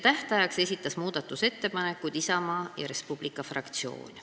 Tähtajaks esitas muudatusettepanekud Isamaa ja Res Publica Liidu fraktsioon.